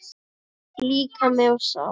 Líkami og sál